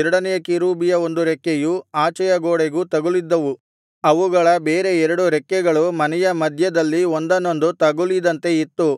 ಎರಡನೆಯ ಕೆರೂಬಿಯ ಒಂದು ರೆಕ್ಕೆಯು ಆಚೆಯ ಗೋಡೆಗೂ ತಗುಲಿದ್ದವು ಅವುಗಳ ಬೇರೆ ಎರಡು ರೆಕ್ಕೆಗಳು ಮನೆಯ ಮಧ್ಯದಲ್ಲಿ ಒಂದನ್ನೊಂದು ತಗುಲಿದಂತೆ ಇತ್ತು